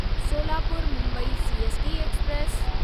Solapur Mumbai CST express